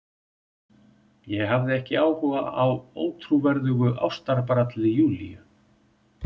Ég hafði ekki áhuga á ótrúverðugu ástabralli Júlíu.